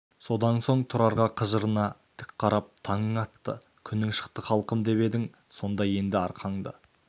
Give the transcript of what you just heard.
содан соң тұрарға қыжырына тік қарап таңың атты күнің шықты халқым деп едің сонда енді арқаңды